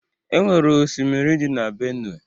Onwere osimiri dị na Benue